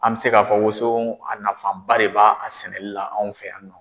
An mɛ se ka fɔ woson a nafanba de b'a a sɛnɛli la anw fɛ yan nɔ.